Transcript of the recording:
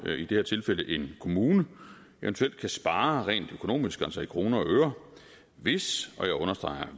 i det her tilfælde en kommune eventuelt kan spare rent økonomisk altså i kroner og øre hvis og jeg understreger